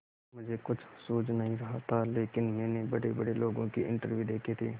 मुझे कुछ सूझ नहीं रहा था लेकिन मैंने बड़ेबड़े लोगों के इंटरव्यू देखे थे